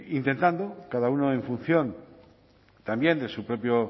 intentando cada uno en función también de su propio